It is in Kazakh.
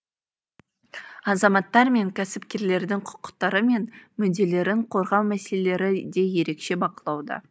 азаматтар мен кәсіпкерлердің құқықтары мен мүдделерін қорғау мәселелері де ерекше бақылауда